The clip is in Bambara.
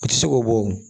A tɛ se k'o bɔ o